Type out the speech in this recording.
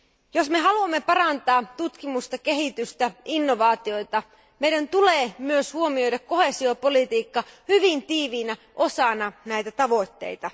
Jos me haluamme parantaa tutkimusta, kehitystä ja innovaatioita, meidän tulee myös huomioida koheesiopolitiikka hyvin tiiviinä osana näitä tavoitteita.